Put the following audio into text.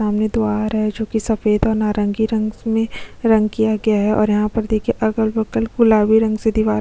सामने दो आ रहा है जो की सफेद और नारंगी रंग से रंग किया गया है और यहाँ पर देखिए अगल-बगल गुलाबी रंग से दीवार--